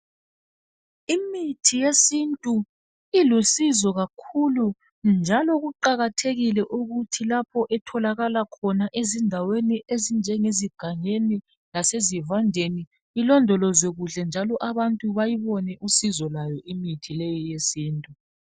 Imithi yesintu ilusizo kakhulu njalo kuqakathekile ukuthi lapho etholaka khona ezindaweni ezinjengegangeni lasezivandeni ilondolozwe kuhle njalo abantu bayibone usizo lwayo imithi leyo yesintu.